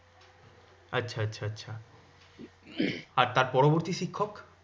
আচ্ছা আচ্ছা আচ্ছা। আর তার পরবর্তী শিক্ষক?